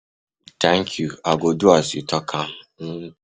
Thank you, i go do as you talk um am, till den. um